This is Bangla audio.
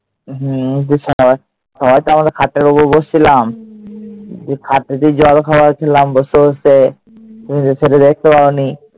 হম সবাই তো আমরা খাটের ওপর বসছিলাম। জল খাচ্ছিলাম বসে বসে। তুমি তো সেটা দেখতে পাওনি।